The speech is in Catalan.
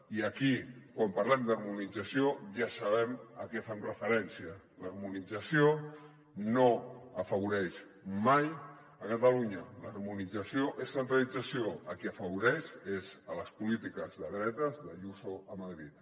i aquí quan par·lem d’harmonització ja sabem a què fem referència l’harmonització no afavoreix mai catalunya l’harmonització és centralització a qui afavoreix és a les polítiques de dretes d’ayuso a madrid